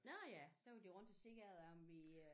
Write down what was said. Nåh ja så var de rundt og se ad om vi øh